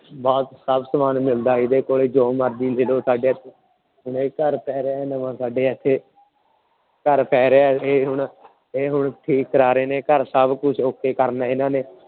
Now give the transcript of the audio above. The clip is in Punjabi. ਬਹੁਤ ਸਭ ਸਮਾਨ ਮਿਲਦਾ ਇਹਦੇ ਕੋਲੇ ਜੋ ਮਰਜ਼ੀ ਲੈ ਲਓ ਘਰ ਪੈ ਰਿਹਾ ਹੈ ਨਵਾਂ ਸਾਡੇ ਇੱਥੇ ਘਰ ਪੈ ਰਿਹਾ ਇਹ ਹੁਣ ਇਹ ਹੁਣ ਠੀਕ ਕਰਾ ਰਹੇ ਨੇ ਘਰ ਸਭ ਕੁਛ okay ਕਰਨਾ ਇਹਨਾਂ ਨੇ।